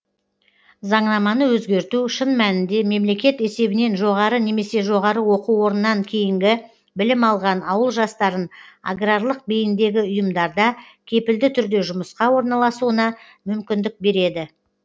заңнаманы өзгерту шын мәнінде мемлекет есебінен жоғары немесе жоғары оқу орнынан кейінгі білім алған ауыл жастарын аграрлық бейіндегі ұйымдарда кепілді түрде жұмысқа орналасуына мүмкіндік береді